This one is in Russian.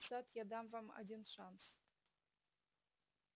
сатт я дам вам один шанс